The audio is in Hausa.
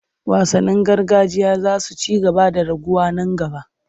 Wasannin gargajiya za su ci gaba da raguwa nan gaba.